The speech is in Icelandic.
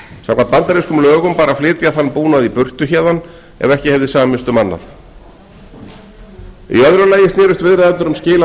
samkvæmt bandarískum lögum bar að flytja þann búnað í burtu héðan ef ekki hefði samist um annað í öðru lagi snerust viðræðurnar um skil á